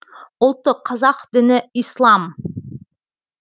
ұлты қазақ діні ислам